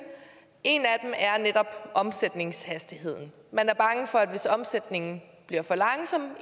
en af dem er netop omsætningshastigheden man er bange for at hvis omsætningen bliver for langsom